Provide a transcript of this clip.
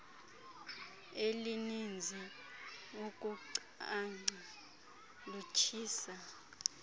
elininzi ukuncanca lutshisa